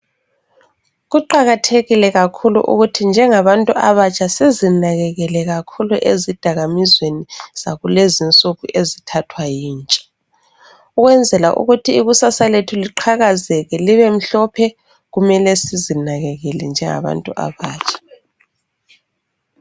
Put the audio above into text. Kuqakathekile kakhulu ukuthi njengabantu abatsha sizinakekele kakhulu ezidakamizweni zakulezi insuku ezithathwa yintsha ukwenzela ukuthi ikusasa lethu liqhakazeke libe mhlophe kumele sizinakekele njengabantu abatsha.